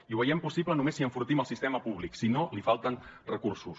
i ho veiem possible només si enfortim el sistema públic si no li falten recursos